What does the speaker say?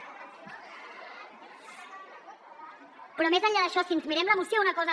però més enllà d’això si ens mirem la moció una cosa